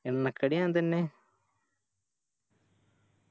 എണ്ണക്കടി ഞാൻ തന്നെ